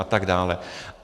A tak dále.